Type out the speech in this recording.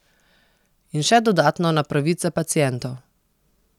In še dodatno na pravice pacientov.